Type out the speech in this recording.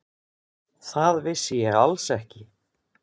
Það vissi ég alls ekki.